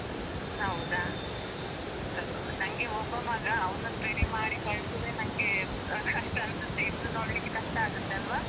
ಹೌದಾ? ಆ ನಂಗೆ ಒಬ್ಬ ಮಗ, ಅವ್ನನ್ನು ರೆಡಿ ಮಾಡಿ ಕಳ್ಸೂದೇ ನಂಗೆ ಕಷ್ಟ ಅನ್ಸುತ್ತೆ, ಇಬ್ರು ನೋಡ್ಲಿಕ್ಕೆ ಕಷ್ಟ ಆಗುತ್ತೆ ಅಲ್ವಾ?